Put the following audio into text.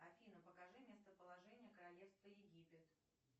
афина покажи местоположение королевства египет